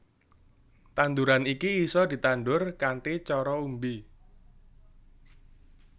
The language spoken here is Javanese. Tanduran iki isa ditandur kanthi cara umbi